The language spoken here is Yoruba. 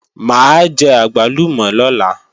Mà á jẹ àgbálùmọ̀ lọ́la